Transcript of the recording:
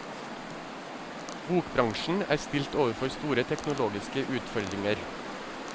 Bokbransjen er stilt overfor store teknologiske utfordringer.